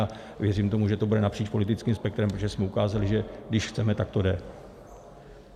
A věřím tomu, že to bude napříč politickým spektrem, protože jsme ukázali, že když chceme, tak to jde.